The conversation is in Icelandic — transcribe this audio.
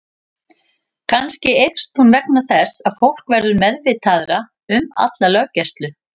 Kannski eykst hún vegna þess að fólk verður meðvitaðra um alla löggæslu.